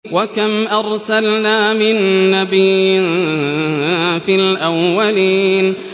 وَكَمْ أَرْسَلْنَا مِن نَّبِيٍّ فِي الْأَوَّلِينَ